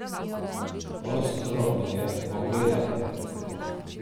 Ostro me je pogledal.